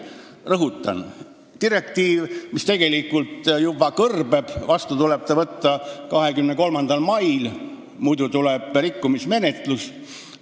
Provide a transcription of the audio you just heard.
Rõhutan, et see direktiiv tegelikult juba kõrbeb: see tuleb vastu võtta 23. maiks, muidu tuleb rikkumismenetlus.